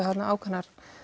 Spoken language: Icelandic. þarna ákveðin